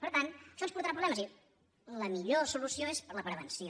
per tant això ens portarà problemes i la millor solució és la prevenció